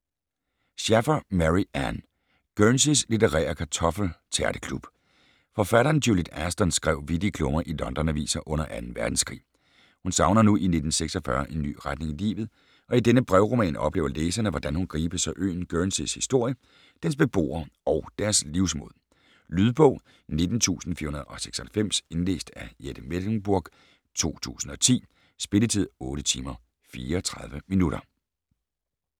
Shaffer, Mary Ann: Guernseys litterære kartoffeltærteklub Forfatteren Juliet Ashton skrev vittige klummer i London-aviser under 2. verdenskrig. Hun savner nu i 1946 en ny retning i livet, og i denne brevroman oplever læserne, hvordan hun gribes af øen Guernseys historie, dens beboere og deres livsmod. Lydbog 19496 Indlæst af Jette Mechlenburg, 2010. Spilletid: 8 timer, 34 minutter.